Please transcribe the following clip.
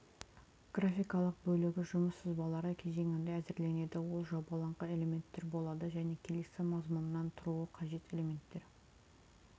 графикалық бөлігі жұмыс сызбалары кезеңінде әзірленеді ол жобаланған элементтер болады және келесі мазмұннан тұруы қажет элементтер